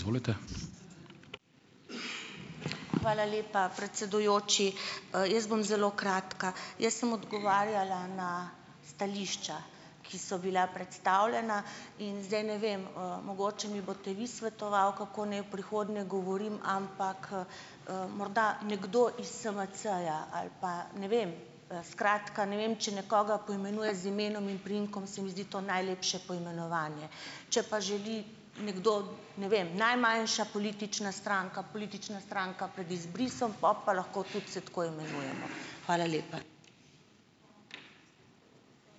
Hvala lepa, predsedujoči. Jaz bom zelo kratka. Jaz sem odgovarjala na stališča, ki so bila predstavljena. In zdaj ne vem, mogoče mi boste vi svetovali, kako naj v prihodnje govorim, ampak, morda nekdo iz SMC-ja ali pa ... ne vem. Skratka, ne vem, če nekoga poimenuješ z imenom in priimkom, se mi zdi to najlepše poimenovanje. Če pa želi nekdo, ne vem, najmanjša politična stranka, politična stranka pred izbrisom, po pa lahko tudi se tako imenujemo. Hvala lepa.